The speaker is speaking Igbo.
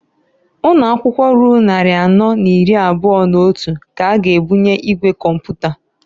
Ụnọakwụkwọ ruru nnarị anọ n'iri abụa n'otu k'a ga ebunye igwe kọmpụta.